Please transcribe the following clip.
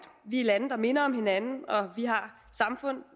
vi er lande der minder om hinanden vi har samfund